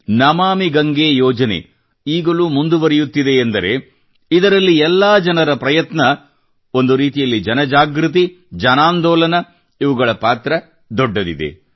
ನಮಾಮಿ ಗಂಗೇ ಯೋಜನೆ ಈಗಲೂ ಮುಂದುವರೆಯುತ್ತಿದೆ ಎಂದರೆ ಇದರಲ್ಲಿ ಎಲ್ಲಾ ಜನರ ಪ್ರಯತ್ನ ಒಂದು ರೀತಿಯಲ್ಲಿ ಜನ ಜಾಗೃತಿ ಜನಾಂದೋಲನ ಇವುಗಳ ಪಾತ್ರ ದೊಡ್ಡದಿದೆ